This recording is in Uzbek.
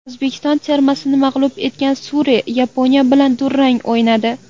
O‘zbekiston termasini mag‘lub etgan Suriya Yaponiya bilan durang o‘ynadi.